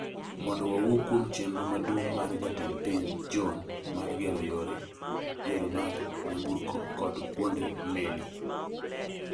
mondo wawuo kuom chenro maduong' mar Jatend piny John mar gero yore, yore mag nyamburko kod kuonde meli